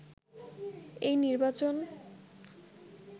এই নির্বাচন